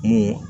Mun